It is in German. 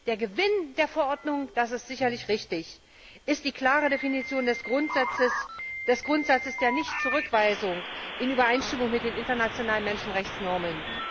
Der Gewinn der Verordnung das ist sicherlich richtig ist die klare Definition des Grundsatzes der Nichtzurückweisung in Übereinstimmung mit den internationalen Menschenrechtsnormen.